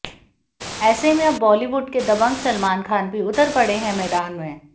ऐसे में अब बॉलीवुड के दबंग सलमान खान भी उतर पड़े है मैदान में